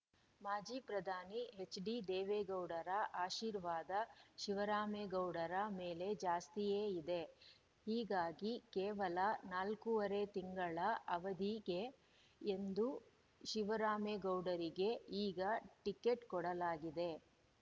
ಮಾಜಿ ಪ್ರಧಾನಿ ಎಚ್‌ಡಿದೇವೇಗೌಡರ ಆಶೀರ್ವಾದ ಶಿವರಾಮೇಗೌಡರ ಮೇಲೆ ಜಾಸ್ತಿಯೇ ಇದೆ ಹೀಗಾಗಿ ಕೇವಲ ನಾಲ್ಕೂವರೆ ತಿಂಗಳ ಅವಧಿಗೆ ಎಂದು ಶಿವರಾಮೇಗೌಡರಿಗೆ ಈಗ ಟಿಕೆಟ್‌ ಕೊಡಲಾಗಿದೆ